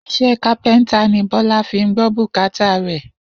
Is̩é̩ kápé̩ńtà ni Bó̩lá fi ń gbó̩ bùkátà rè̩.